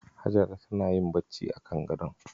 Hajara tana yin bacci akan gadon.